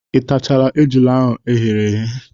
Ị tachala ejula ahụ eghere eghe?